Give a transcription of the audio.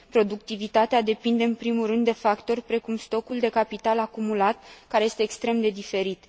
Productivitatea depinde, în primul rând, de factori precum stocul de capital acumulat care este extrem de diferit.